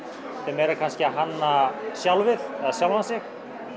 meira kannski að hanna sjálfið eða sjálfan sig